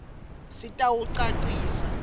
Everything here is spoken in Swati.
sitawucacisa